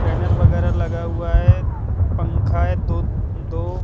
banner वगैरा लगा हुआ है पंखा है दो अं दो--